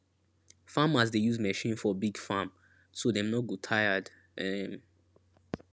farmers dey use machine for big farm so dem no go tired um